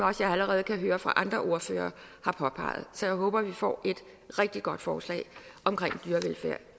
også allerede har hørt andre ordførere påpege så jeg håber at vi får et rigtig godt forslag omkring dyrevelfærd